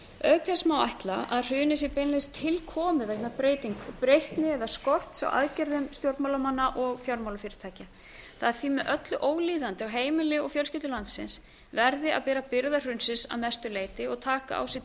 auk þess má ætla að hrunið sé beinlínis tilkomið vegna breytni eða skorts á aðgerðum stjórnmálamanna og fjármálafyrirtækja það er því með öllu ólíðandi að heimili og fjölskyldur landsins verði að bera byrðar hrunsins að mestu leyti og taka á sig